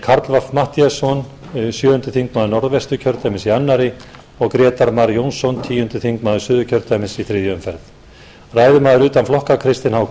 karl fimmti matthíasson sjöundi þingmaður norðvesturkjördæmis í annarri og grétar mar jónsson tíundi þingmaður suðurkjördæmis í þriðju umferð ræðumaður utan flokka kristinn h